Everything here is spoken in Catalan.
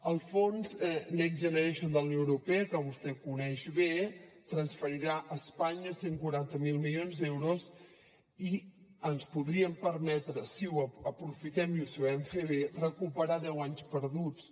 el fons next generation de la unió europea que vostè coneix bé transferirà a espanya cent i quaranta miler milions d’euros i ens podríem permetre si ho aprofitem i ho sabem fer bé recuperar deu anys perduts